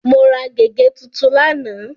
Mo ra gègé tuntun lánàá.